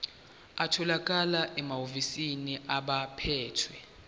atholakala emahhovisi abaphethe